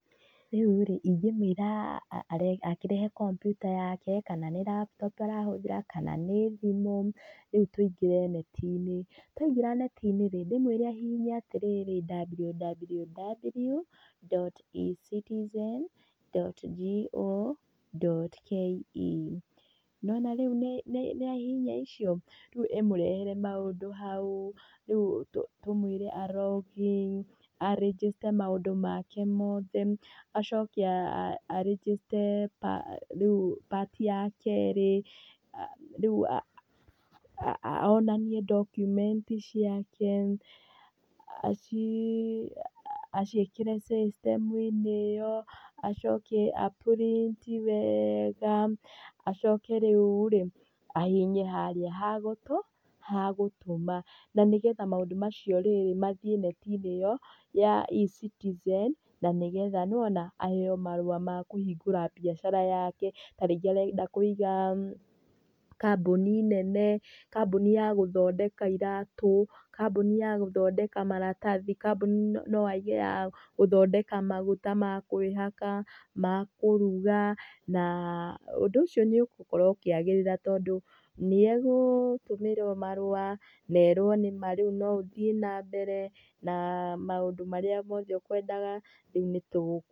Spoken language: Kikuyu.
Rĩu rĩ, ingĩmũĩra akĩrehe kompiuta kana nĩ laptop arahũthĩra kana nĩ thimũ rĩu tũingĩre neti-inĩ. Twaingĩra neti-inĩ rĩ ndĩmwĩre ahihinye www dot E-citizen dot co dot ke. Nĩ wona rĩu nĩ ahihinya icio, rĩu ĩmũrehere maũndũ hau, tũmwĩre a log in a register maũndũ make mothe acoke a register rĩu part ya kerĩ onanie document ciake aciĩkĩre system ĩyo acoke a print wega acoke rĩu rĩ ahihinye harĩa hagũtũ? Hagũtũma. Na nĩgetha maũndũ macio mathiĩ neti-inĩ ĩyo ya E-Citizen na nĩgetha nĩwona aheo marũa ma kũhingũra biacara yake. Ta rĩngĩ arenda kũiga kambuni nene, kambuni ya gũthondeka iratũ, kambuni ya gũthondeka maratathi, kambuni no aige ya gũthondeka maguta ma kwĩhaka, ma kũruga, ũndũ ũcio nĩ ũgũkorwo ũkĩagĩrĩra tondũ nĩ egũtũmĩrwo marũa na erwo nĩ ma rĩu no ũthiĩ nambere na maũndũ marĩa mothe ũkwendaga rĩu nĩ tũgũgwĩtĩkĩria.